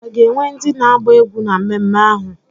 A ga-enwe ndị na-agba egwú na mmemme ahụ?